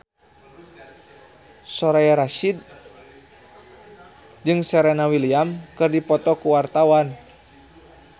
Soraya Rasyid jeung Serena Williams keur dipoto ku wartawan